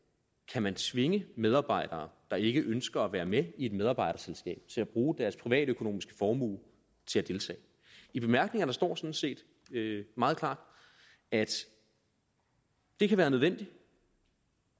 kan man tvinge medarbejdere der ikke ønsker at være med i et medarbejderselskab til at bruge deres privatøkonomiske formue til at deltage i bemærkningerne står sådan set meget klart at det kan være nødvendigt